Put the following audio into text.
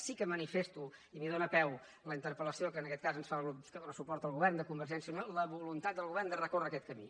sí que manifesto i m’hi dóna peu la interpel·lació que en aquest cas ens fa el grup que dóna suport al govern de convergència i unió la voluntat del govern de recórrer aquest camí